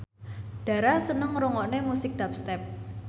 Dara seneng ngrungokne musik dubstep